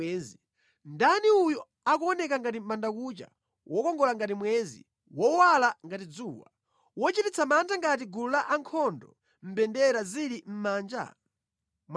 Ndani uyu akuoneka ngati mʼbandakucha, wokongola ngati mwezi, wowala ngati dzuwa, wochititsa mantha ngati gulu la ankhondo mbendera zili mʼmanja?